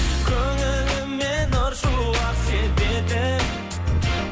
көңіліме нұр шуақ себетін